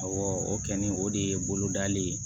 Awɔ o kɛ ni o de ye bolodali ye